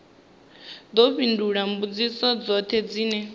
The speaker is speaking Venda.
ḓo fhindula mbudziso dzoṱhe dzine